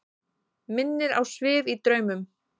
Minnir á svif í draumum.